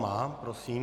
Má. Prosím.